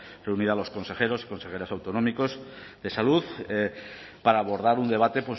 reunido a los consejeros y consejeras autonómicos de salud para abordar un debate